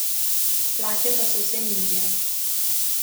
Plače pa so vse nižje.